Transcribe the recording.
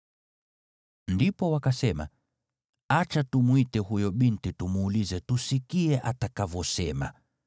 Ndipo wakasema, “Acha tumwite huyo binti tumuulize, tusikie atakavyosema.”